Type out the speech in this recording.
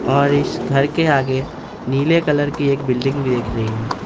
और इस घर के आगे नीले कलर की एक बिल्डिंग भी दिख रही है।